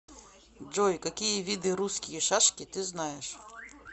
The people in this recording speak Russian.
джой какие виды русские шашки ты знаешь